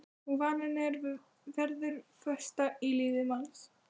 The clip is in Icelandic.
Og vaninn er og verður festa í lífi manns.